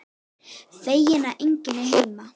Feginn að enginn er heima.